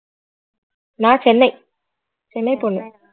நான் சென்னை சென்னை பொண்ணு